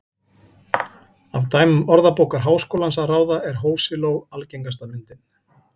Af dæmum Orðabókar Háskólans að ráða er hosiló algengasta myndin.